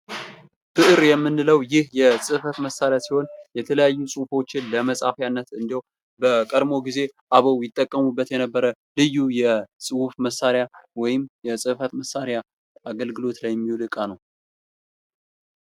ብዕር የምንለው ይህ የጽህፈት መሳሪያ ሲሆን የተለያዩ ጽሑፎችን ለመጻፊያነት እንድሁም በቀድሞ ጊዜ አበው ይጠቀሙበት የነበረ ልዩ የጽሑፍ መሳሪያ ወይም የጽህፈት መሳሪያ አገልግሎት ላይ የሚውል እቃ ነው።